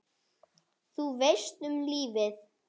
Þú veist, um lífið?